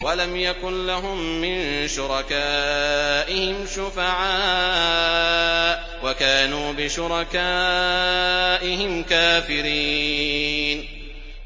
وَلَمْ يَكُن لَّهُم مِّن شُرَكَائِهِمْ شُفَعَاءُ وَكَانُوا بِشُرَكَائِهِمْ كَافِرِينَ